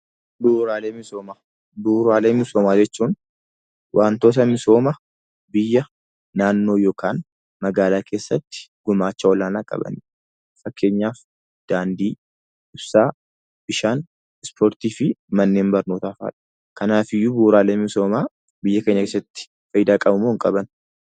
Bu'uuraalee misoomaa jechuun waantota misooma, biyya, naannoo yokaan magaalaa keessatti gumaacha olaanaa qabanidha. Fakkeenyaaf daandii, ibsaa, bishaan, ispoortii fi mannen barnootaa fa'i. Kanaafiyyuu bu'uuraaleen misoomaa biyya keenya keessatti faayidaa qabumoo hin qaban?